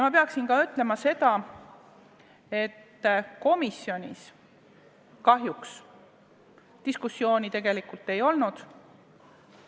Ma pean ütlema ka seda, et komisjonis kahjuks diskussiooni tegelikult ei olnud.